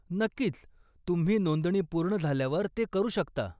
नक्कीच, तुम्ही नोंदणी पूर्ण झाल्यावर ते करू शकता.